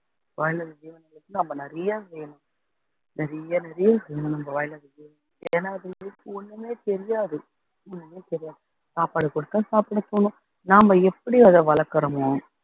வாய் இல்லாத ஜீவன்களுக்கு நம்ம நிறையா செய்யணும் நிறையா நிறையா செய்யணும் நம்ம வாய் இல்லாத ஜீவன்களுக்கு ஏன்னா அதுகளுக்கு ஒண்ணுமே தெரியாது எதுவுமே தெரியாது சாப்பாடு குடுத்தோம் சாப்பிட போகும் நாம எப்படி அதை வளர்க்கிறோமோ